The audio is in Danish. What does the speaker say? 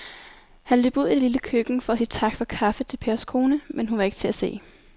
Han løb ud i det lille køkken for at sige tak for kaffe til Pers kone, men hun var ikke til at se.